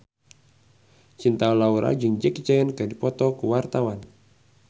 Cinta Laura jeung Jackie Chan keur dipoto ku wartawan